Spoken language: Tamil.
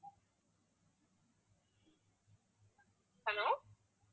hello